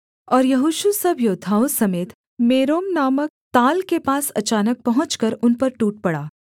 और यहोशू सब योद्धाओं समेत मेरोम नामक ताल के पास अचानक पहुँचकर उन पर टूट पड़ा